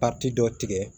dɔ tigɛ